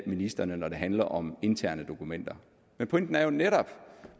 ministrene når det handler om interne dokumenter men pointen er jo netop